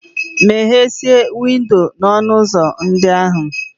Meghesịa windo na ọnụ ụzọ ndị ahụ!